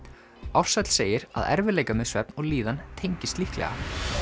Ársæll segir að erfiðleikar með svefn og líðan tengist líklega